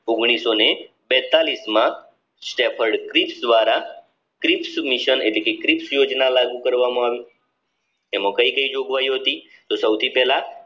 ઓગણિસો ને બેતાળીસમાં સ્ટેફેદ દ્વારા લાગુ કરવામાં આવી એમાં કઈ કઈ જોગવાઈઓ હતી તો સૌથી પહેલા